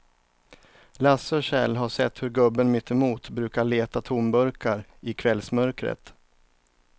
Lasse och Kjell har sett hur gubben mittemot brukar leta tomburkar i kvällsmörkret.